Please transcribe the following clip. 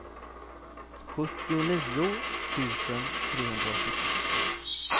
sjuttionio tusen trehundraåttiotvå